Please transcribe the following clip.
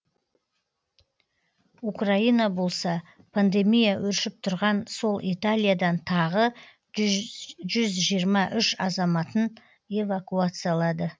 украина болса пандемия өршіп тұрған сол италиядан тағы жүз жиырма үш азаматын эвакуациялады